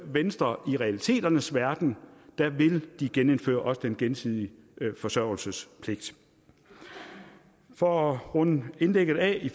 venstre i realiteternes verden vil genindføre den gensidige forsørgelsespligt for at runde mit indlæg af